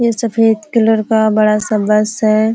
ये सफ़ेद कलर का बड़ा सा बस है।